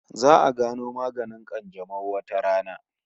Za'a gano maganin kanjamau wata rana